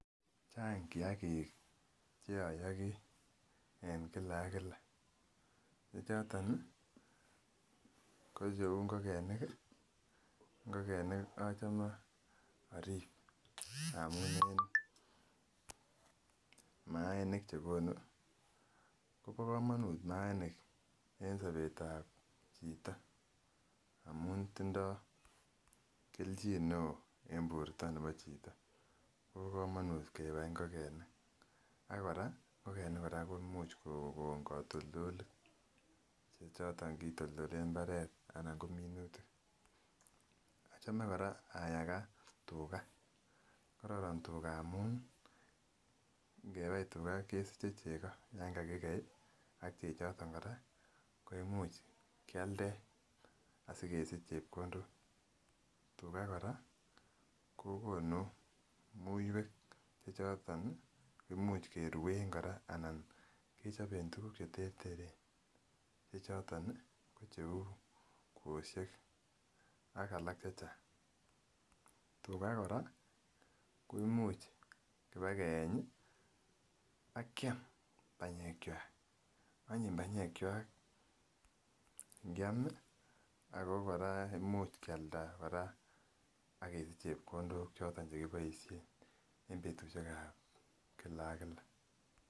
Chang kiakik cheoyogi en kila ak kila chechoton ih ko cheu ngokenik ih, ngokenik achome orip amun en maaniik chekonu kobo komonut maaniik en sobetab chito amun tindoo kelchin neoo en borto nebo chito kobo komonut kebai ngokenik ak kora ngokenik kora komuch kokon katoltolik chechoton kitoltolen mbaret anan ko minutik, achome kora ayaga tuga kororon tuga amun ngebai tuga kesiche chego yan kakikei ih ak chechoton kora ko imuch kialden asikesich chepkondok, tuga kora ko konu muiwek chechoton ih kimuch keruen kora anan kechoben tuguk cheterteren che choton ih ko cheu kwosiek ak alak chechang. Tuga kora ko imuch kiba keeny ih akiam banyek kwak onyin banyekkwak ngiam ih ako kora imuch kialda kora akesich chepkondok choton chekiboisien en betusiek ab kila ak kila.